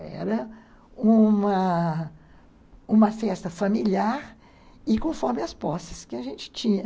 Era uma uma festa familiar e conforme as posses que a gente tinha.